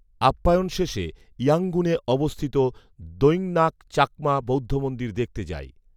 আপ্যায়ন শেষে ইয়াংগুনে অবস্থিত দৈংনাকচাকমা বৌদ্ধমন্দির দেখতে যাই